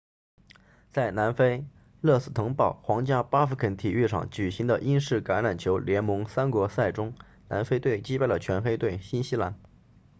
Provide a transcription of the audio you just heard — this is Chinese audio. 在南非勒斯滕堡 rustenburg 皇家巴福肯体育场举行的英式橄榄球联盟三国赛中南非队击败了全黑队新西兰